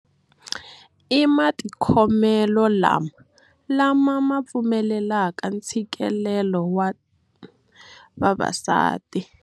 I matikhomelo lama lama ma pfumelelaka ntshikelelo wa vavasati.